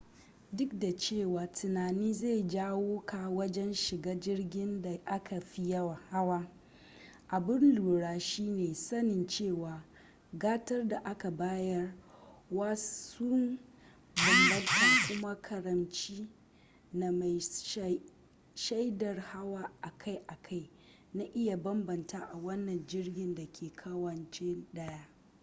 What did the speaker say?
duk da cewa tunani zai jawo ka wajen shiga jirgin da aka fi hawa abun lura shine sanin cewa gatar da aka bayar wa sun bambanta kuma karamci na mai shaidar hawa akai-akai na iya bambanta a wani jirgi dake kawance daya